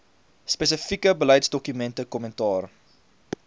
spesifieke beleidsdokumente kommentaar